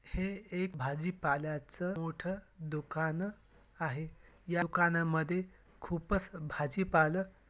हे एक भाजीपाल्याच मोठ दुकान आहे या दुकानामध्ये खुपच भाजीपालं--